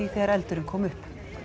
þegar eldurinn kom upp